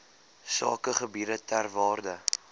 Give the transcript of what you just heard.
sakegebiede ter waarde